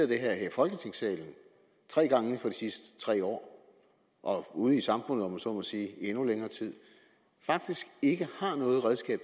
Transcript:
det her i folketingssalen tre gange inden for de sidste tre år og ude i samfundet om jeg så må sige i endnu længere tid faktisk ikke har noget redskab